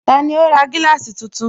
Tani ó ra gíláàsì tuntun?